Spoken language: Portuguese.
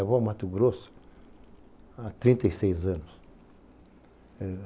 Eu vou ao Mato Grosso há trinta e seis anos.